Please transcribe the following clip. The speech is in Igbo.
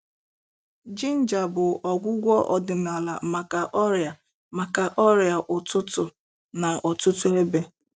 Ginger bụ ọgwụgwọ ọdịnala maka ọrịa maka ọrịa ụtụtụ n'ọtụtụ ebe.